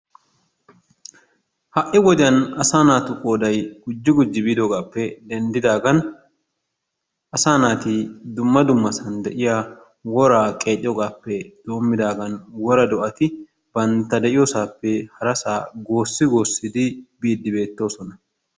Ha"i wodiyan asaa naatu qooday gujji gujji biidoogaappe denddidaagan asaa naati dumma dummasan de'iya woraa qeexiyogaappe doommidaagan woraa do'ati bantta de'iyosaappe harasaa goossi goossidi biiddi beettoosona.